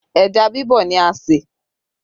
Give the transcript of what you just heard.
Ẹja bibọ̀ ni a ṣe